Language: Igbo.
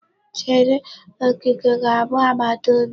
Chere, Okeke ga-abụ agbataobi m.